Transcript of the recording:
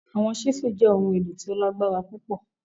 Awọn chisel jẹ ohun elo ti o lagbara pupọ